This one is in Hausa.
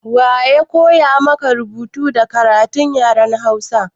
Wa ya koya maka rubutu da karatu da yaren hausa?